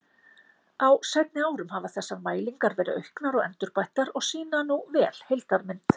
Á seinni árum hafa þessar mælingar verið auknar og endurbættar og sýna nú vel heildarmynd.